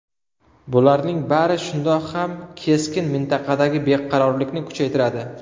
Bularning bari shundoq ham keskin mintaqadagi beqarorlikni kuchaytiradi.